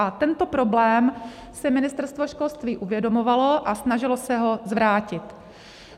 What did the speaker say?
A tento problém si Ministerstvo školství uvědomovalo a snažilo se to zvrátit.